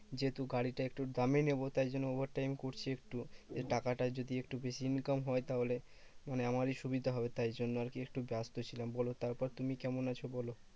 যেহেতু গাড়িটা একটু দামি নেবো, তাই জন্য over time করছি একটু। টাকাটা যদি একটু বেশি income হয় তাহলে মানে আমারই সুবিধা হবে। তাই জন্য আরকি একটু ব্যস্ত ছিলাম বলো, তারপর তুমি কেমন আছো বলো?